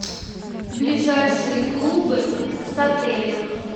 ближайшие клубы с отелем